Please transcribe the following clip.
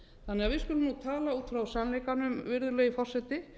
þannig að við skulum nú tala út frá sannleikanum virðulegi forseti